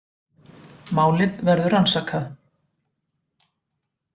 Málið verður rannsakað